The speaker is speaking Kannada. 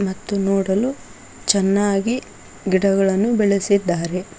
ಮತ್ತು ನೋಡಲು ಚೆನ್ನಾಗಿ ಗಿಡಗಳನ್ನು ಬೆಳೆಸಿದ್ದಾರೆ.